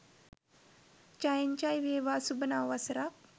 ජයෙන් ජය වේවා සුභ නව වසරක්